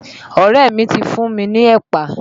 Ọ̀rẹ́ mi ti fún mi ni ẹ̀pà.